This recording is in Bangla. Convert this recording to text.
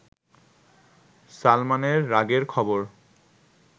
সালমানের রাগের খবর